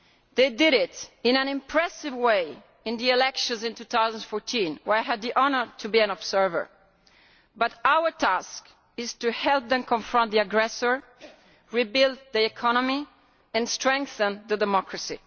They did it in an impressive way in the elections in 2014, where I had the honour to be an observer, but our task is to help them confront the aggressor, rebuild their economy and strengthen their democracy.